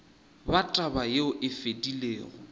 ba taba yeo e fedilego